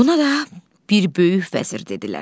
Buna da bir böyük vəzir dedilər.